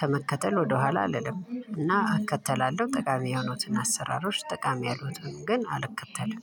ከመከተል ወደኋላ አልልም። እና አከተላለሁ ጠቃሚ የሆኑትን አሰራሮች ጠቃሚ ያልሆኑትን ግን አልከተለም።